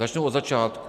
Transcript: Začnu od začátku.